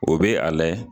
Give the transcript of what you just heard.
O bɛ a layɛ